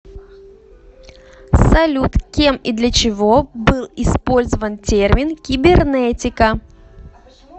салют кем и для чего был использован термин кибернетика